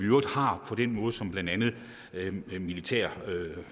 øvrigt har på den måde som blandt andet militære